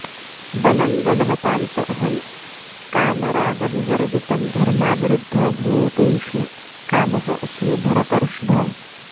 बलं बलवतां च अहं कामरागविवर्जितम् धर्माविरुद्धः भूतेषु कामः अस्मि भरतर्षभ